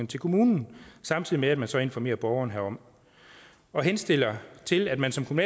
til kommunen samtidig med at man så informerer borgeren herom og henstiller til at man som som